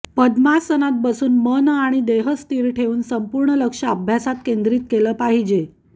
पद्मासनात बसून मन आणि देह स्थिर ठेवून संपूर्ण लक्ष अभ्यासात केंद्रीत केले पाहिजे